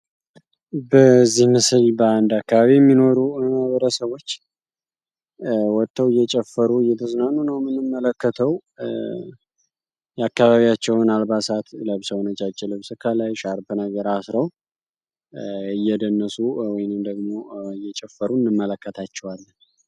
በዚህ ምስል በአንድ አካባቢ የሚኖሩ ማህበረሰቦች ወጠው እየጨፈሩ እየተዝናኑ ነው ምንመለከተው። የአካባቢያቸውን አልባሳት ለብሰው ነጫጭ ልብስ ከላይ ሻርብ ነገር አስረው እየደነሱ ወይንም ደግሞ እየጨፈሩ እንመለከታቸዋለን።